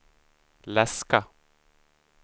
läska